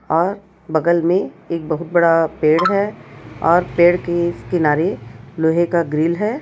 और बगल में एक बहोत बड़ा पेड़ है और पेड़ के इस किनारे लोहे का ग्रिल है।